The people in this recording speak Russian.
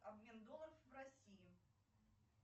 обмен долларов в россии